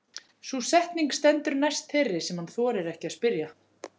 Sú setning stendur næst þeirri sem hann þorir ekki að spyrja.